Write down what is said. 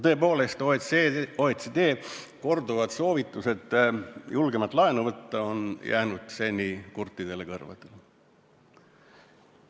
Tõepoolest, OECD korduvad soovitused julgemalt laenu võtta on kõlanud seni kurtidele kõrvadele.